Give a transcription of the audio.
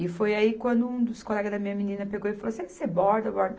E foi aí quando um dos colegas da minha menina pegou e falou assim, você borda, bordo